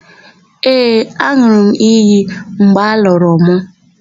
Ee, an̄ụrụ m iyi mgbe a lụrụ mụ.